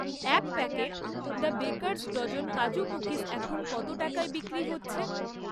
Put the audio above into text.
এক packet the Baker's Dozen kaju cookies এখন কত টাকায় বিক্রি হচ্ছে?